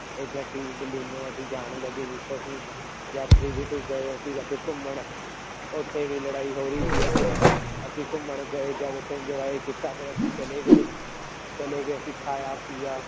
ਇਹ ਗੱਡੀ ਅਸੀਂ ਜਾਣ ਲੱਗੇ ਗਏ ਅਸੀਂ ਅੱਜ ਘੁੰਮਣ ਉੱਥੇ ਵੀ ਲੜਾਈ ਹੋ ਰਹੀ ਸੀ ਅੱਜ, ਅਸੀਂ ਘੁੰਮਣ ਗਏ ਜਦ ਉੱਥੇ enjoy ਕੀਤਾ ਫਿਰ ਅਸੀਂ ਚਲੇ ਗਏ ਚਲੇ ਗਏ ਅਸੀਂ ਖਾਇਆ ਪੀਆ,